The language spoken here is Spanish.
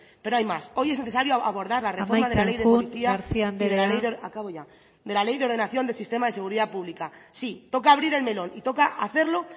pero hay más hoy es necesario abordar la reforma de la ley amaitzen joan garcía anderea de policía y de la ley acabo ya y de la ley de ordenación del sistema de seguridad pública sí toca abrir el melón y toca hacerlo